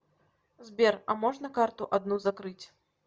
сбер а можно карту одну закрыть